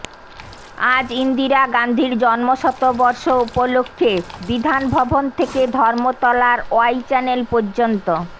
আজ ইন্দিরা গান্ধীর জন্মশতবর্ষ উপলক্ষ্যে বিধান ভবন থেকে ধর্মতলার ওয়াই চ্যানেল পর্যন্ত